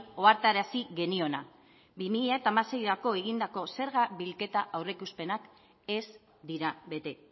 ohartarazi geniona bi mila hamaseirako egindako zerga bilketa aurreikuspenak ez dira bete